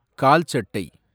கால் சட்டை